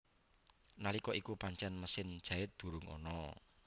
Nalika iku pancen mesin jait durung ana